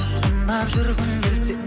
ұнап жүргің келсе